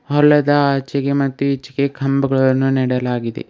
ಹೊಲದ ಆಚೆಗೆ ಮತ್ತು ಈಚೆಗೆ ಕಂಬಗಳನ್ನು ನೆಡಲಾಗಿದೆ.